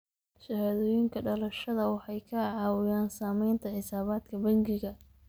Shahaadooyinka dhalashada waxay ka caawiyaan samaynta xisaabaadka bangiga.